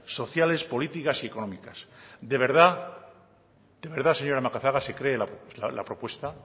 sociales políticas y económicas de verdad señora macazaga se cree la propuesta